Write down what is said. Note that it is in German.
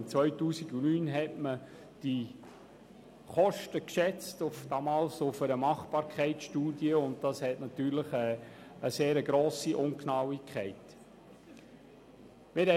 Im Jahr 2009 schätzte man die Kosten aufgrund einer Machbarkeitsstudie, welche natürlich eine sehr grosse Ungenauigkeit aufwies.